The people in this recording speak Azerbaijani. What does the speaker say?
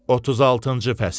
36-cı fəsil.